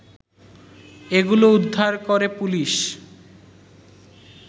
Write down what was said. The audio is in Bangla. এগুলো উদ্ধার করে পুলিশ